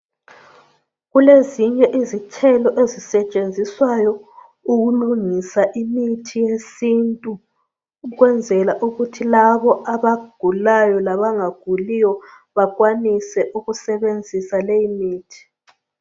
Kulezinye izithelo ezisetshenziswayo ukulungisa imithi yesintu ukwenzela ukuthi abagulayo labanga guliyo benelise ukusebenzisa leyo mithi